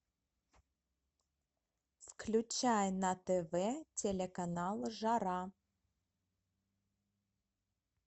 включай на тв телеканал жара